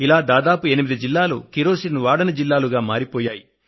ఇలా దాదాపు 8 జిల్లాలు కిరోసిన్ వాడని జిల్లాలుగా మారిపోయాయి